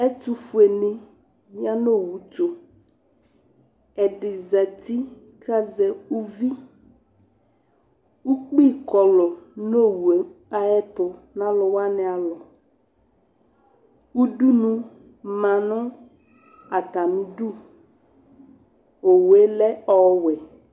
Ɛtʋfʋenɩ ya nʋ owu tʋ Ɛdɩ zati kʋ azɛ uvi Ukpi kɔlʋ nʋ owu yɛ ayɛtʋ nʋ alʋ wanɩ alɔ Udunu ma nʋ atamɩdu Owu yɛ lɛ owɛ